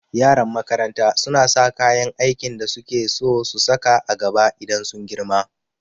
Yaran makaranta suna sa kayan aikin da suke so su saka a gaba idan sun girma